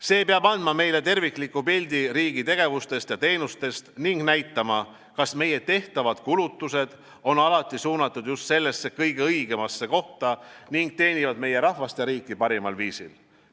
See peab andma meile tervikliku pildi riigi tegevustest ja teenustest ning näitama, kas meie tehtavad kulutused on alati suunatud just kõige õigemasse kohta ning teenivad meie rahvast ja riiki parimal viisil.